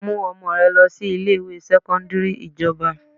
Mú ọmọ rẹ lọ sí ilé ìwé sẹ́kọ́ńdírì ìjọba!